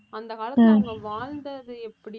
அந்த காலத்தில அவங்க வாழ்ந்தது எப்படி